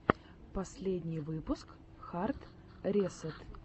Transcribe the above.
последний выпуск хард ресэт